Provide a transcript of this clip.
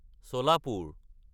Solapur